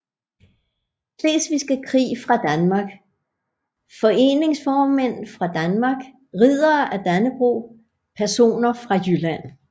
Slesvigske Krig fra Danmark Foreningsformænd fra Danmark Riddere af Dannebrog Personer fra Jylland